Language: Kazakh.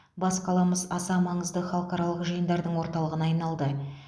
бас қаламыз аса маңызды халықаралық жиындардың орталығына айналды